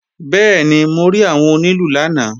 Bẹ́ẹ̀ni, mo rí àwọn onílù lánàá